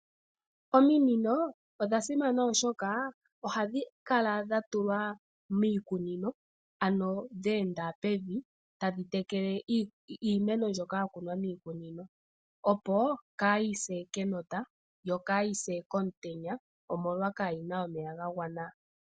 Ominino odha simana oshoka ohadhi kala dha tulwa miikunino ano dheenda pevi tadhi tekele iimeno mbyoka ya kunwa miikunino opo kayi se kenota yo kayi se komutenya omolwa kayi na omeya ga gwana.